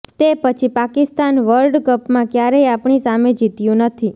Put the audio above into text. તે પછી પાકિસ્તાન વર્લ્ડ કપમાં ક્યારેય આપણી સામે જીત્યું નથી